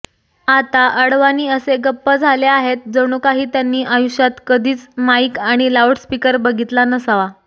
आता अडवाणी असे गप्प झाले आहेत जणूकाही त्यांनी आयुष्यात कधीच माइक आणि लाउडस्पीकर बघीतला नसावा